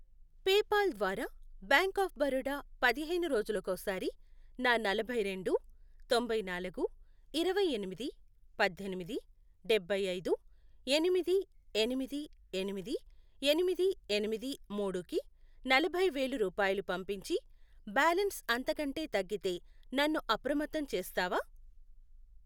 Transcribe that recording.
PayPal ద్వారా Bank of Baroda పదిహేను రోజులకోసారి నా నలభై రెండు, తొంభై నాలుగు, ఇరవై ఎనిమిది, పద్దెనిమిది, డబ్బై ఐదు, ఎనిమిది, ఎనిమిది, ఎనిమిది, ఎనిమిది, ఎనిమిది, మూడు, కి నలభై వేలు రూపాయలు పంపించి, బ్యాలన్స్ అంతకంటే తగ్గితే నన్ను అప్రమత్తం చేస్తావా?